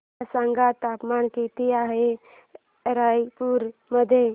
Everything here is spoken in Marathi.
मला सांगा तापमान किती आहे रायपूर मध्ये